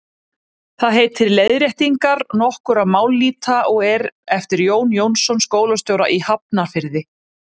það heitir leiðréttingar nokkurra mállýta og er eftir jón jónasson skólastjóra í hafnarfirði